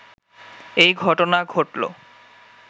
এই ঘটনা ঘটল